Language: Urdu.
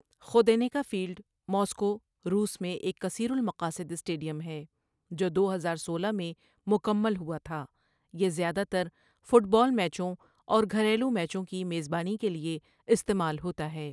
ؒخودینکا فیلڈ، ماسکو، روس میں ایک کثیر االمقاصد اسٹیڈیم ہے، جو دو ہزار سولہ میں مکمل ہوا تھا یہ زیادہ تر فٹ بال میچوں اور گھریلو میچوں کی میزبانی کے لیے استعمال ہوتا ہے